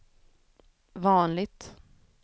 vanligt